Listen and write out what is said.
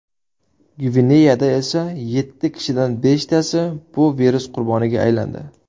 Gvineyada esa yetti kishidan beshtasi bu virus qurboniga aylandi.